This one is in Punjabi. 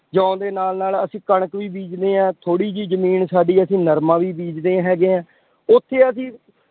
ਜੌਂ ਦੇ ਨਾਲ ਨਾਲ ਅਸੀਂ ਕਣਕ ਵੀ ਬੀਜਦੇ ਹਾਂ। ਥੋੜੀ ਜਿਹੀ ਜ਼ਮੀਨ ਸਾਡੀ ਅਸੀਂ ਨਰਮਾ ਵੀ ਬੀਜਦੇ ਹੈਗੇ ਹਾਂ, ਉੱਥੇ ਅਸ਼ੀਂ